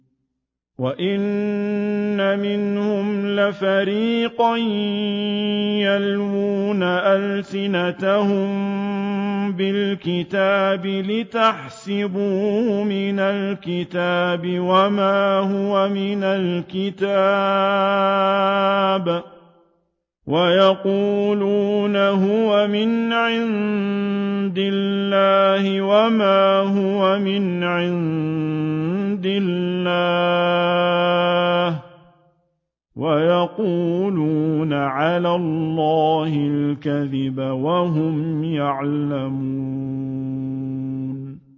وَإِنَّ مِنْهُمْ لَفَرِيقًا يَلْوُونَ أَلْسِنَتَهُم بِالْكِتَابِ لِتَحْسَبُوهُ مِنَ الْكِتَابِ وَمَا هُوَ مِنَ الْكِتَابِ وَيَقُولُونَ هُوَ مِنْ عِندِ اللَّهِ وَمَا هُوَ مِنْ عِندِ اللَّهِ وَيَقُولُونَ عَلَى اللَّهِ الْكَذِبَ وَهُمْ يَعْلَمُونَ